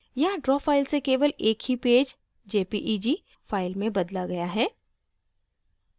यहाँ draw file से केवल एक ही पेज jpeg file में बदला गया है